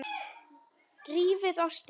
Rífið ostinn.